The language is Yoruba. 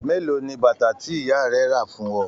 Mélòó ní bàtà tí ìyá rẹ rà fún ọ?